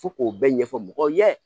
Fo k'o bɛɛ ɲɛfɔ mɔgɔw ye